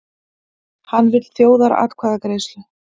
Hann vill þjóðaratkvæðagreiðslu